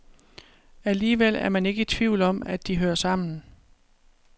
Alligevel er man ikke i tvivl om, at de hører sammen.